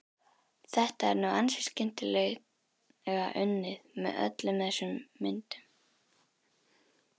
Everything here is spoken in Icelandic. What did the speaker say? Þetta er nú ansi skemmtilega unnið, með öllum þessum myndum.